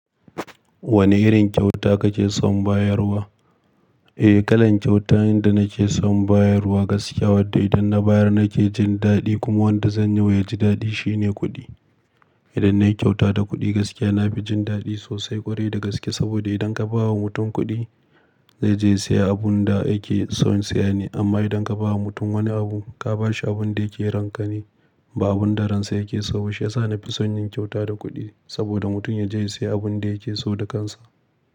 Wane irin kyauta kake son bayarwa? Eh, kalan kyauta inda nake son bayarwa gaskiya wadda idan na bayar nake jin daɗi kuma wadda zan yi wa ya ji daɗi shine kuɗi. Idan na yi kyauta da kuɗi gaskiya, na fi jin daɗi sosai ƙwarai da gaske. Saboda idan ka ba wa mutum kuɗi, zai je ya siya abunda yake son siya ne. Amma idan ka ba wa mutum wani abu, ka ba shi abun da yake ranka ne, ba abunda ransa yake so ba. Shiyasa na fi son yin kyauta da kuɗi saboda mutum ya je ya siya abun da yake so da kansa.